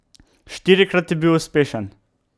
Štirikrat je bil uspešen.